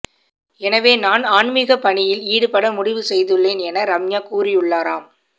எனவே நான் ஆன்மிக பணியில் ஈடுபட முடிவு செய்துள்ளேன் என ரம்யா கூறியுள்ளாராம்